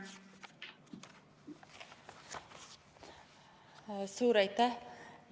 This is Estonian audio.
Suur aitäh!